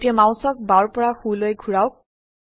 এতিয়া মাউসক বাওৰ পৰা সো লৈ ঘোৰাওক